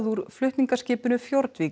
úr flutningaskipinu